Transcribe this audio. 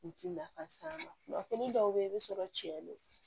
U ti nafa s'an ma fini dɔw bɛ ye i bɛ sɔrɔ cɛ le